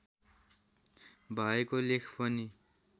भएको लेख पनि